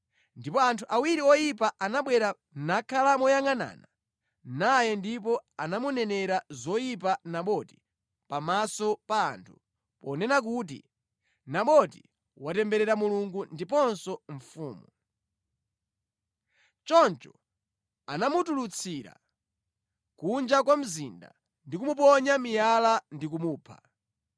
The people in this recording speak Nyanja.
Ndipo anthu awiri oyipa anabwera nakhala moyangʼanana naye ndipo anamunenera zoyipa Naboti pamaso pa anthu, ponena kuti, “Naboti watemberera Mulungu ndiponso mfumu.” Choncho anamutulutsira kunja kwa mzinda ndi kumuponya miyala ndi kumupha.